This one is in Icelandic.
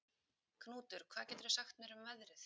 Knútur, hvað geturðu sagt mér um veðrið?